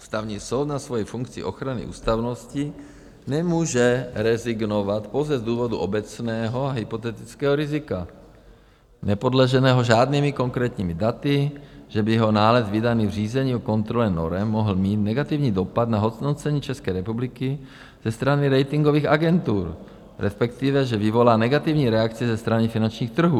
Ústavní soud na svoji funkci ochrany ústavnosti nemůže rezignovat pouze z důvodu obecného a hypotetického rizika, nepodloženého žádnými konkrétními daty, že by jeho nález vydaný v řízení o kontrole norem mohl mít negativní dopad na hodnocení České republiky ze strany ratingových agentur, respektive že vyvolá negativní reakci ze strany finančních trhů.